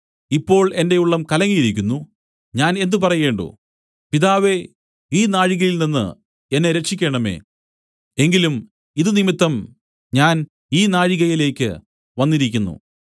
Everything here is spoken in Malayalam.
ഇപ്പോൾ എന്റെ ഉള്ളം കലങ്ങിയിരിക്കുന്നു ഞാൻ എന്ത് പറയേണ്ടു പിതാവേ ഈ നാഴികയിൽനിന്ന് എന്നെ രക്ഷിക്കേണമേ എങ്കിലും ഇതു നിമിത്തം ഞാൻ ഈ നാഴികയിലേക്ക് വന്നിരിക്കുന്നു